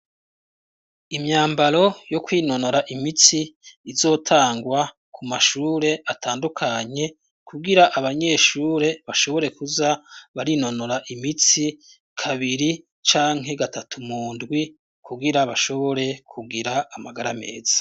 Imyambaro yo kwinonora imitsi izotangwa ku mashure atandukanye kugira abanyeshure bashobore kuza barinonora imitsi kabiri canke gatatu mundwi kugira bashobore kugira amagara ameza.